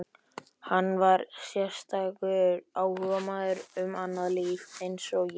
Hann var sérstakur áhugamaður um annað líf eins og ég.